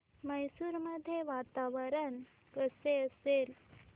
मैसूर मध्ये वातावरण कसे असेल